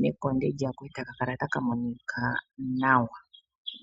nekonde lyako eta ka kala taka monika nawa.